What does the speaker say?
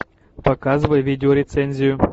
показывай видеорецензию